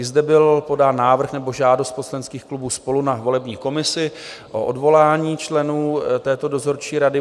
I zde byl podán návrh nebo žádost poslaneckých klubů SPOLU na volební komisi o odvolání členů této dozorčí rady.